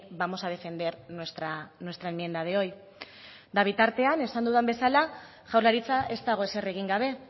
vamos a defender nuestra enmienda de hoy eta bitartean esan dudan bezala jaurlaritza ez dago ezer egin gabe